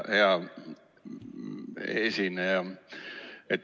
Hea esineja!